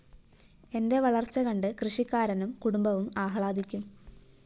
എന്റെ വളര്‍ച്ച കണ്ട് കൃഷിക്കാരനും കുടുംബവും ആഹ്ലാദിക്കും